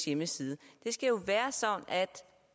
hjemmeside så